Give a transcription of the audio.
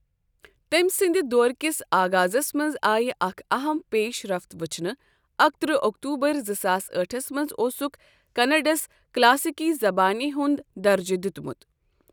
تٔمۍ سٕنٛدِ دور کِس آغازَس منٛز آیہِ اکھ اَہم پیش رفت ؤچھنہٕ، اکہِترہ اوٚکتوٗبر زٕ ساس أٹھس منٛز اوسُکھ کَنَڑَس کلاسیکی زبانہِ ہُنٛد درجہِ دِیُتمُت۔